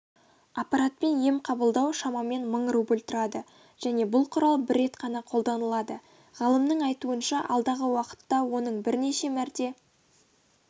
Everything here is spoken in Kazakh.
аппаратпен ем қабылдау шамамен мың рубль тұрады және бұл құрал бір рет қана қолданылады ғалымның айтуынша алдағы уақытта оның бірнеше мәрте